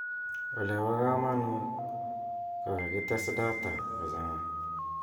Olebo kamanut ,ko kakites data kochan'ga.